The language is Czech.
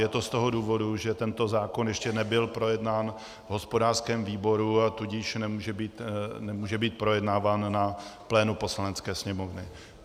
Je to z toho důvodu, že tento zákon ještě nebyl projednán v hospodářském výboru, a tudíž nemůže být projednáván na plénu Poslanecké sněmovny.